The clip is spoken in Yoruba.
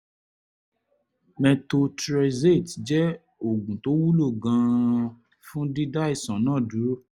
methotrexate jẹ́ oògùn tó wúlò gan-an fún dídá àìsàn náà dúró